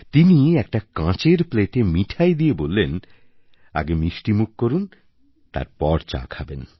তিনি একটা কাঁচের প্লেটে মিঠাই দিয়ে বললেন আগে মিষ্টিমুখ করুন তারপর চা খাবেন